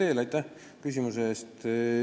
Te olete õigel teel.